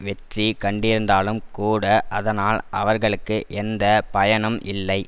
வெற்றி கண்டிருந்தாலும் கூட அதனால் அவர்களுக்கு எந்த பயனும் இல்லை